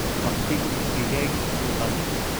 Baqtigu digaaggii buu qaatay